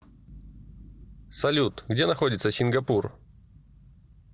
салют где находится сингапур